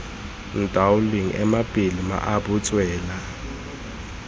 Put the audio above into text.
ntaoleng ema pele mmaabo tswela